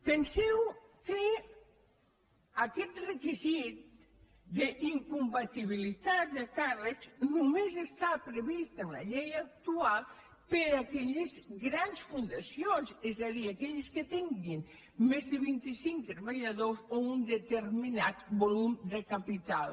penseu que aquest requisit d’incompatibilitat de càr·recs només està previst en la llei actual per a aquelles grans fundacions és a dir aquelles que tinguin més de vint·i·cinc treballadors o un determinat volum de capital